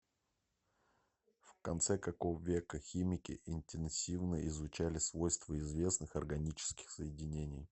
в конце какого века химики интенсивно изучали свойства известных органических соединений